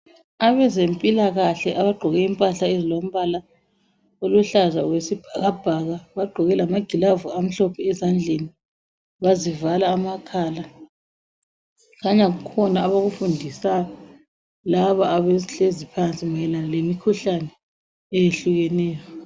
Abezempilakahle abagqoke impahla ezilombala oluhlaza owesibhakabhaka. Bagqoke lamagilavu amhlophe ezandleni bazivala amakhala. Kukhanya kukhona abakufundisayo labo abahlezi phansi mayelana lemikhuhlane eyehlukeneyo.